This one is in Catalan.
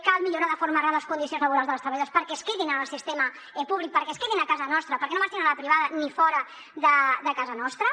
cal millorar de forma real les condicions laborals de les treballadores perquè es quedin en el sistema públic perquè es quedin a casa nostra perquè no marxin a la privada ni fora de casa nostra